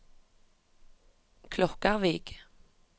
Klokkarvik